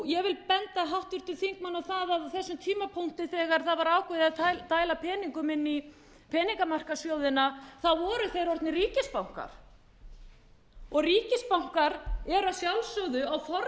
vil benda háttvirtum þingmanni á að á þessum tímapunkti þegar ákveðið var að dæla peningum inn í peningamarkaðssjóðina þá voru þeir orðnir ríkisbankar og ríkisbankar eru að sjálfsögðu á forræði framkvæmdarvaldsins í hverju ríki fyrir sig